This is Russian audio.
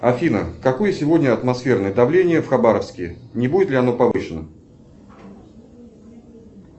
афина какое сегодня атмосферное давление в хабаровске не будет ли оно повышено